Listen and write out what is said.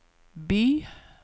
by